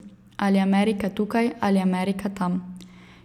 Ali Amerika tukaj ali Amerika tam.